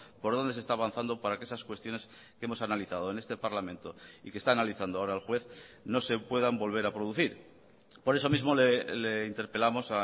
por dónde se está avanzando para que esas cuestiones que hemos analizado en este parlamento y que está analizando ahora el juez no se puedan volver a producir por eso mismo le interpelamos